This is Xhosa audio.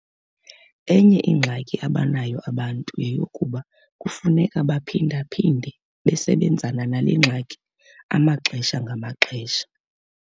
Enye ingxaki abanayo abantu yeyokokuba kufuneka baphinda-phinde besebenzana nale ngxaki amaxesha ngaxesha.